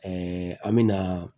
an me na